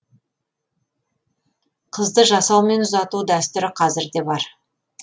қызды жасаумен ұзату дәстүрі қазір де бар